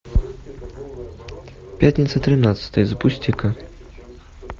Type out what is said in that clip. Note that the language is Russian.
пятница тринадцатое запусти ка